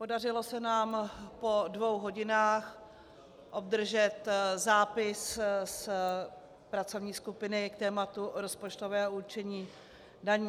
Podařilo se nám po dvou hodinách obdržet zápis z pracovní skupiny k tématu rozpočtového určení daní.